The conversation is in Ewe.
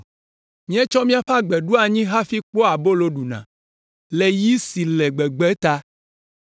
Míetsɔ míaƒe agbe ɖo anyi hafi kpɔa abolo ɖuna, le yi si le gbegbe la ta.